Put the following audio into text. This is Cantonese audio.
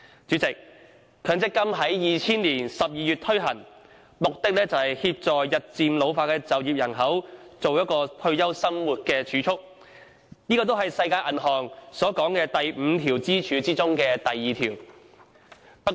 強積金制度在2000年12月開始推行，旨在協助日漸老化的就業人口，為退休生活作儲備，這亦是世界銀行所指的5根支柱中的第二根支柱。